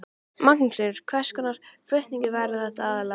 Magnús Hlynur: Hvers konar flutningar verða þetta aðallega?